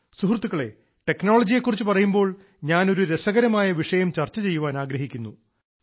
സുഹൃത്തുക്കളെ ടെക്നോളജിയെ കുറിച്ച് പറയുമ്പോൾ ഞാൻ ഒരു രസകരമായ വിഷയം ചർച്ച ചെയ്യാൻ ആഗ്രഹിക്കുന്നു